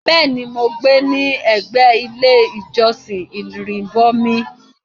Bẹ́ẹ̀ ní, mò ń gbé ní ẹgbé ilé ìjọ̀sìn Ìrìbọ̀mi.